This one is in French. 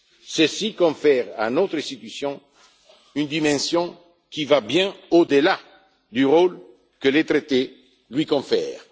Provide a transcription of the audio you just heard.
Ceci confère à notre Institution une dimension qui va bien au delà du rôle que les traités lui confèrent.